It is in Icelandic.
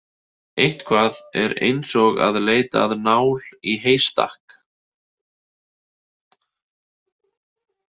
Eitthvað er eins og að leita að nál í heystakk